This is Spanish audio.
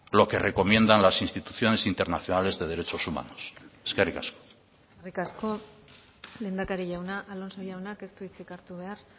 lo que recomiendan las instituciones internacionales de derechos humanos eskerrik asko eskerrik asko lehendakari jauna alonso jaunak ez du hitzik hartu behar